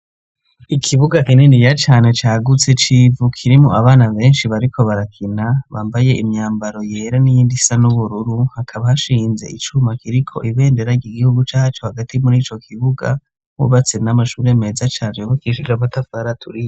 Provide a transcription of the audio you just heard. Ikibuga kininiya cane cagutse civu kirimwo abana benshi bariko barakina, bambaye imyambaro yera n'iyindi isa n'ubururu hakaba hashinze icuma kiriko ibendera ry'igihugu cacu hagati muri co kibuga hubatse n'amashuri meza cane hubakishije amatafari aturiye.